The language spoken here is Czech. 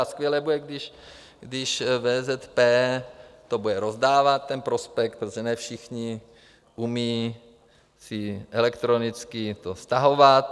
A skvělé bude, když VZP to bude rozdávat, ten prospekt, protože ne všichni umí si elektronicky to stahovat.